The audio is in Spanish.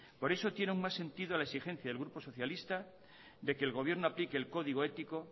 por eso tiene un más sentido a la exigencia del grupo socialista de que el gobierno aplique el código ético